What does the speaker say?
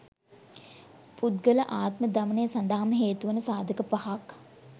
පුද්ගල ආත්ම දමනය සඳහාම හේතුවන සාධක පහක්